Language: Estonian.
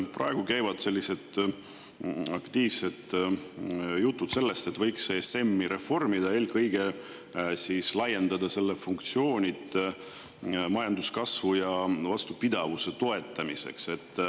Praegu käivad aktiivselt jutud sellest, et võiks ESM‑i reformida, eelkõige laiendada selle funktsioone majanduskasvu ja vastupidavuse toetamiseks.